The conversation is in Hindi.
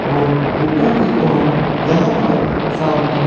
और ऊपर की ओर यहाँ पर सामने--